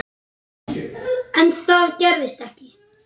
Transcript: En það gerist ekki.